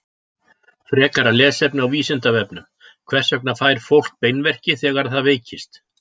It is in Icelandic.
Frekara lesefni á Vísindavefnum: Hvers vegna fær fólk beinverki þegar það veikist?